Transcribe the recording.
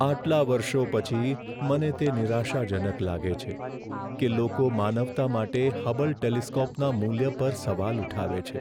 આટલા વર્ષો પછી, મને તે નિરાશાજનક લાગે છે કે લોકો માનવતા માટે હબલ ટેલિસ્કોપના મૂલ્ય પર સવાલ ઉઠાવે છે.